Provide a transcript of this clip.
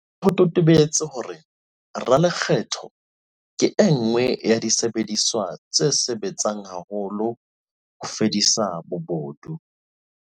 Ho se ho totobetse hore 'ralekgetho' ke e nngwe ya disebediswa tse sebetsang haholo ho fedisa bobodu.